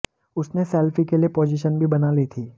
उसने सेल्फी के लिए पोजीशन भी बना ली थी